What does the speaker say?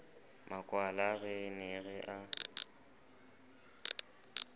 makwala re ne re a